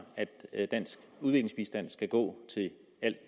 ja det